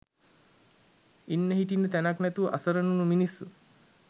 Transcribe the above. ඉන්න හිටින්න තැනක් නැතුව අසරණ වුනු මිනිස්සු